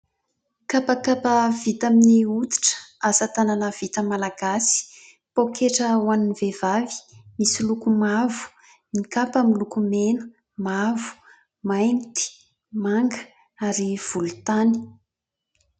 Kapakapa vita amin'ny hoditra, asa-tànana vita malagasy, paoketra ho an'ny vehivavy misy loko mavo, ny kapa miloko mena, mavo, mainty, manga ary volon-tany.